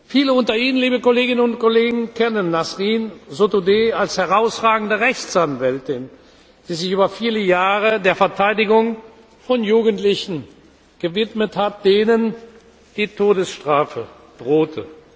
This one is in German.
Viele unter Ihnen, liebe Kolleginnen und Kollegen, kennen Nasrin Sotoudeh als herausragende Rechtsanwältin, die sich über viele Jahre der Verteidigung von Jugendlichen gewidmet hat, denen die Todesstrafe drohte.